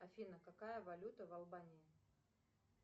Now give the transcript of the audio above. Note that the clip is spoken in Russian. афина какая валюта в албании